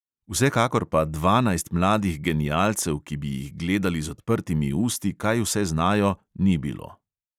Vsekakor pa dvanajst mladih genialcev, ki bi jih gledali z odprtimi usti, kaj vse znajo, ni bilo.